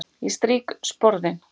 Ég strýk sporðinn.